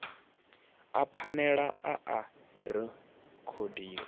a phanele a a rekhodiwa